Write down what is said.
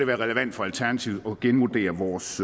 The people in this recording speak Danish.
være relevant for alternativet at genvurdere vores